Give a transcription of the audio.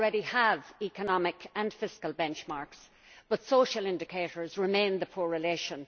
We already have economic and fiscal benchmarks, but social indicators remain the poor relation.